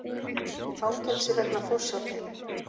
Í fangelsi vegna forsjárdeilu